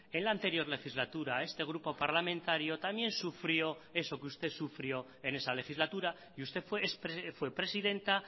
en la anterior legislatura este grupo parlamentario también sufrió eso que usted sufrió en esa legislatura y usted fue presidenta